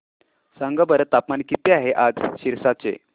सांगा बरं तापमान किती आहे आज सिरसा चे